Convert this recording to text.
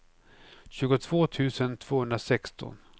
tjugotvå tusen tvåhundrasexton